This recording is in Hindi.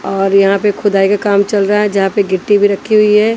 और यहां पे खुदाई के काम चल रहा है जहां पे गिट्टी भी रखी हुई है।